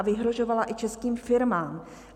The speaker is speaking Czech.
A vyhrožovala i českým firmám.